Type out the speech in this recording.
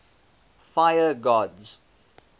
fire gods